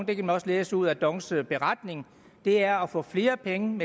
det kan man også læse ud af dongs beretning er at få flere penge